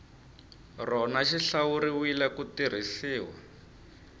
rona xi hlawuriwile ku tirhisiwa